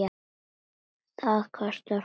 Það kostar fórnir.